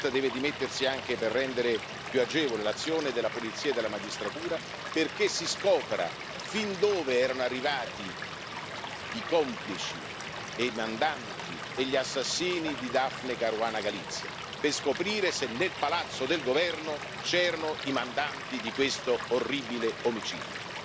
Ma Muscat deve dimettersi anche per rendere più agevole l'azione della polizia e della magistratura, perché si scopra fin dove erano arrivati i complici e i mandanti e gli assassini di Daphne Caruana Galizia, per scoprire se nel palazzo del governo c'erano i mandanti di questo orribile omicidio.